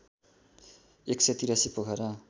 १८३ Pokhara